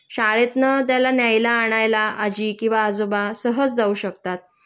शाळेतनं त्याला न्यायला आणायला आजी किंवा आजोबा सहज जाऊ शकतात